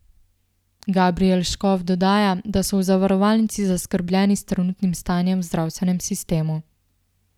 Gabrijel Škof dodaja, da so v zavarovalnici zaskrbljeni s trenutnim stanjem v zdravstvenem sistemu.